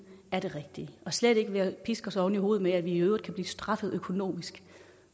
er det rigtige og slet ikke ved at piske os oven i hovedet med at vi i øvrigt kan blive straffet økonomisk